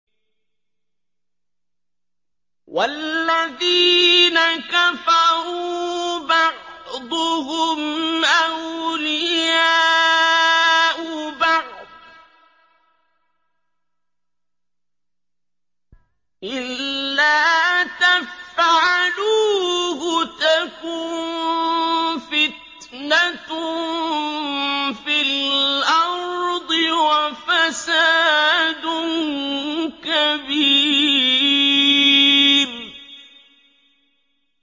وَالَّذِينَ كَفَرُوا بَعْضُهُمْ أَوْلِيَاءُ بَعْضٍ ۚ إِلَّا تَفْعَلُوهُ تَكُن فِتْنَةٌ فِي الْأَرْضِ وَفَسَادٌ كَبِيرٌ